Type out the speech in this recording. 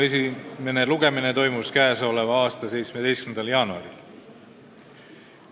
Esimene lugemine toimus 17. jaanuaril.